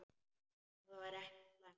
Það væri ekki slæmt.